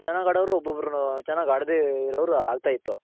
ಒಬೋಬ್ರ್ ಚೆನಾಗ್ ಆಡವ್ರು ಒಬೋಬ್ರ್ ಚೆನಾಗ್ ಆಡ್ದೆ ಇರೋವ್ರ್ ಆಯ್ತಾ ಇತ್ತು.